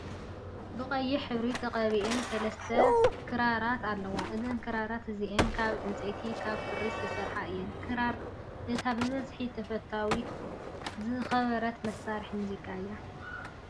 በቀይሕ ሕብሪ ተቀቢኣን 3ተ ክራርት ኣለዋ እዘን ክራራት እዚኣን ካብ ዕንፀይትን ካብ ክሪን ዝተሰርሓ እየን። ክራር እታ ብብዙሕ ተፈታውነት ዝረከበት መሳሪሒ ሙዚቃ እያ።